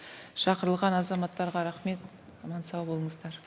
шақырылған азаматтарға рахмет аман сау болыңыздар